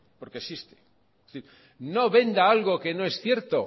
porque existe es decir no venda algo que no es cierto